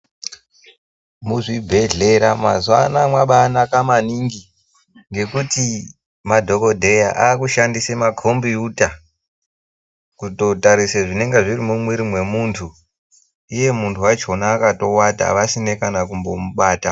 Muzvibhedhlera mazuwanawa mwabanaka maningi ngekuti madhokodheya akushandise makombiyuta kutotarise zvinenge zviri mumwiri mwemuntu iye muntu wachona wakatowata vasine kana kumbomubata.